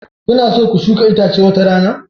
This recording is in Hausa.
Kuna so ku shuka itace wata rana?